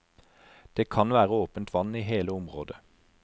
Det kan være åpent vann i hele området.